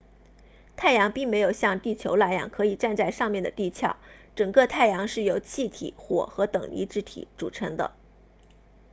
太阳并没有像地球那样可以站在上面的地壳整个太阳是由气体火和等离子体组成的